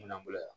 Minan bolo yan